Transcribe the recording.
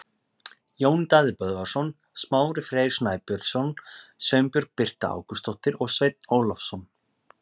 Jón Daði Böðvarsson, Smári Freyr Snæbjörnsson, Sveinbjörg Birta Ágústsdóttir og Sveinn Ólafsson.